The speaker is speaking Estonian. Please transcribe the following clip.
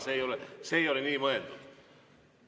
See ei ole nii mõeldud.